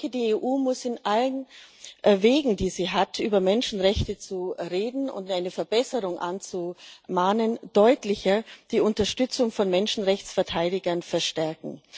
Die EU muss auf allen Wegen, die sie hat, über Menschenrechte zu reden und eine Verbesserung anzumahnen, deutlicher die Unterstützung von Menschenrechtsverteidigern verstärken.